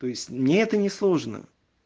то есть мне это не сложно